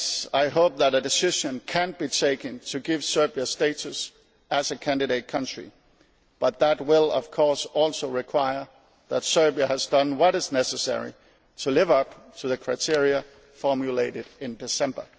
I hope that a decision can be taken to give Serbia status as a candidate country but that will of course also require that Serbia has done what is necessary to live up to the criteria formulated in December.